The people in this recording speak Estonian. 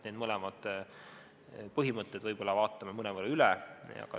Need mõlemad põhimõtted võib-olla vaatame mõnevõrra üle.